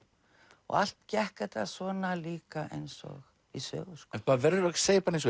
og allt gekk þetta svona líka eins og í sögu sko maður verður að segja eins